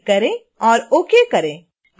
apply पर click करें और ok करें